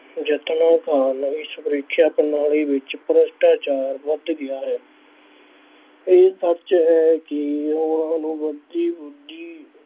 ਯਤਨਾਂ ਕਾਰਨ ਇਸ ਪ੍ਰੀਖਿਆ ਪ੍ਰਣਾਲੀ ਵਿੱਚ ਭ੍ਰਿਸ਼ਟਾਚਾਰ ਵੱਧ ਗਿਆ ਹੈ। ਇਹ ਸੱਚ ਹੈ ਕਿ ਉਹਨਾ ਨੂੰ ਵਧਦੀ ਬੁੱਧੀ।